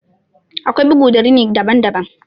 Akwai bugu da rini daban daban.